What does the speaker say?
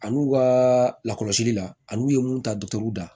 Ani u ka lakɔlɔsili la ani u ye mun ta